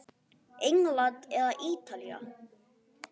England eða Ítalía?